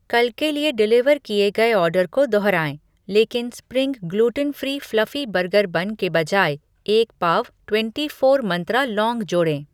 कल के लिए डिलीवर किए गए ऑर्डर को दोहराएँ लेकिन spring gluten free fluffy burger bun के बजाय एक पाव ट्वेंटी फ़ोर मंत्रा लौंग जोड़ें।